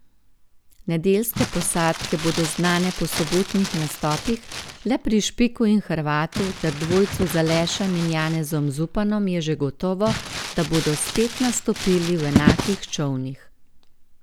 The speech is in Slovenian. Nedeljske posadke bodo znane po sobotnih nastopih, le pri Špiku in Hrvatu ter dvojcu z Alešem in Janezom Zupanom je že gotovo, da bodo spet nastopili v enakih čolnih.